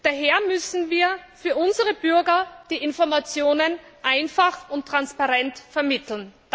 Daher müssen wir für unsere Bürger die Informationen einfach und transparent vermitteln.